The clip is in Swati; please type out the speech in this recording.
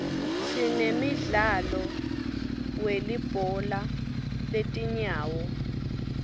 sinemdlalo welibhola letinyawo